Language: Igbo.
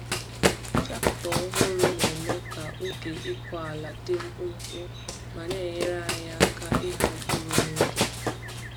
Traktọ ọhụrụ na-eme ka oge ịkụ ala dị mkpụmkpụ ma na-enyere anyị aka ịgha mkpụrụ n’oge.